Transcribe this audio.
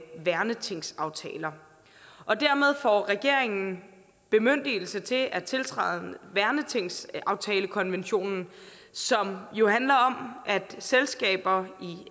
værnetingsaftaler dermed får regeringen bemyndigelse til at tiltræde værnetingsaftalekonventionen som jo handler om at selskaber